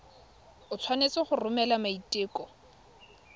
o tshwanetse go romela maiteko